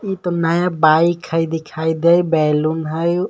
ई त नया बाइक हय दिखाई देई बैलून हय.